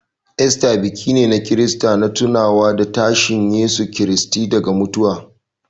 Easter biki ne na Kirista na tunawa da tashin Yesu Kiristi daga matattu.